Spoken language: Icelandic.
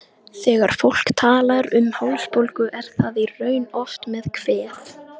Þegar fólk talar um hálsbólgu er það í raun oft með kvef.